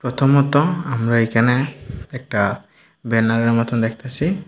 প্রথমত আমরা একানে একটা বেনারের মতন দেখতাসি।